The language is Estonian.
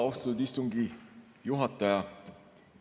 Austatud istungi juhataja!